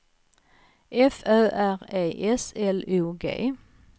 F Ö R E S L O G